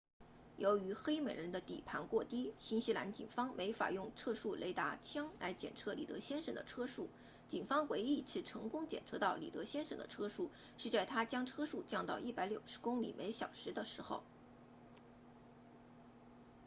由于黑美人的底盘过低新西兰警方没法用测速雷达枪来检测里德先生的车速警方唯一一次成功检测到里德先生的车速是在他将车速降到160公里小时的时候